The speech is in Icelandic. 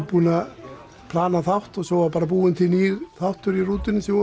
búin að plana þátt og svo var bara búinn til nýr þáttur í rútunni þegar